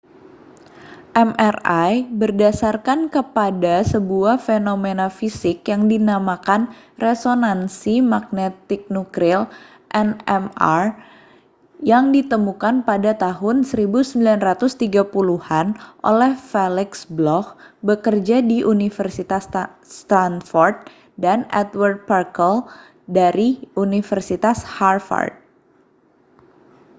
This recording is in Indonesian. mri berdasarkan kepada sebuah fenomena fisik yang dinamakan resonansi magnetik nuklir nmr yang ditemukan pada tahun 1930-an oleh felix bloch bekerja di universitas stanford dan edward purcell dari universitas harvard